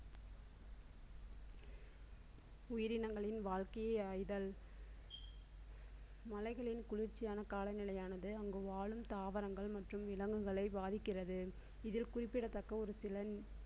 உயிரினங்களின் வாழ்க்கையை ஆய்தல். மலைகளின் குளிர்ச்சியான கால நிலையானது அங்கு வாழும் தாவரங்கள் மற்றும் விலங்குகளை பாதிக்கிறது இதில் குறிப்பிடத்தக்க ஒரு சில